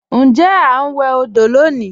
Ǹjẹ̀ a n wè ni òdò lọ́ní?